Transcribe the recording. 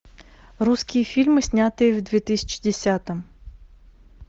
русские фильмы снятые в две тысячи десятом